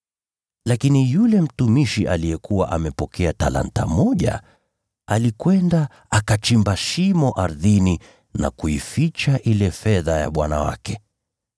Lakini yule mtumishi aliyekuwa amepokea talanta moja, alikwenda akachimba shimo ardhini na kuificha ile fedha ya bwana wake.